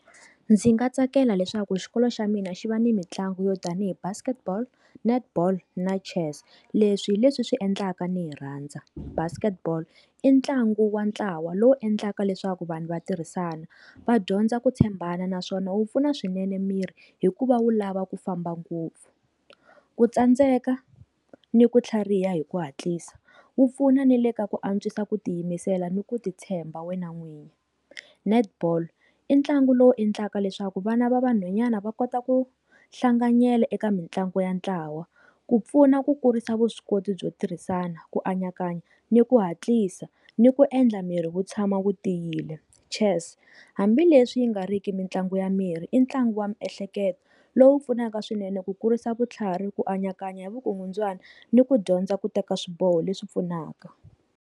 Ndzi nga tsakela leswaku xikolo xa mina xi va ni mitlangu yo tanihi Basketball, Netball, na Chess leswi hileswi swi endlaka ni hi rhandza Basketball i ntlangu wa ntlawa lowu endlaka leswaku vanhu vatirhisana va dyondza ku tshembana naswona wu pfuna swinene miri hikuva wu lava ku famba ngopfu. Ku tsandzeka ni ku tlhariha hi ku hatlisa wu pfuna ni le ka ku antswisa ku tiyimisela ni ku titshemba wena n'winyi. Netball i ntlangu lowu endlaka leswaku vana va vanhwanyani va kota ku hlanganyela eka mitlangu ya ntlawa ku pfuna ku kurisa vuswikoti byo tirhisana ku anakanya ni ku hatlisa ni ku endla miri wu tshama wu tiyile, Chess hambileswi yi nga riki mitlangu ya miri i ntlangu wa miehleketo lowu pfunaka swinene ku kurisa vutlhari ku anakanya vukungundzwani ni ku dyondza ku teka swiboho leswi pfunaka.